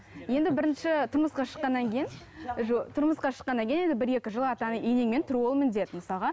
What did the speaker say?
енді бірінші тұрмысқа шыққаннан кейін тұрмысқа шыққаннан кейін енді бір екі жыл ата енеңмен тұру ол міндет мысалға